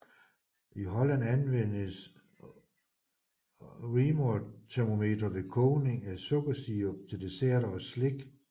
I Holland anvendes Reaumurtermometre ved kogning af sukkersirup til desserter og slik